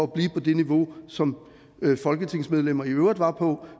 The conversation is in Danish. blive på det niveau som folketingsmedlemmer i øvrigt var på